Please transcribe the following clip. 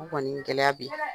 Kɔni gɛlɛya bi,